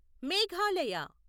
Meghalaya